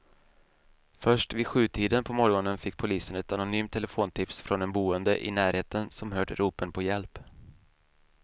Först vid sjutiden på morgonen fick polisen ett anonymt telefontips från en boende i närheten som hört ropen på hjälp.